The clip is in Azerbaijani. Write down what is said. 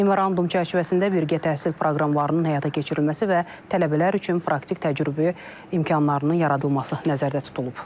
Memorandum çərçivəsində birgə təhsil proqramlarının həyata keçirilməsi və tələbələr üçün praktik təcrübə imkanlarının yaradılması nəzərdə tutulub.